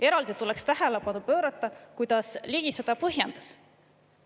Eraldi tuleks tähelepanu pöörata, kuidas Ligi seda põhjendas.